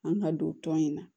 An ka don tɔn in na